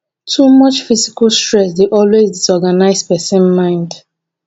too much physical stress dey always disorganise persin mind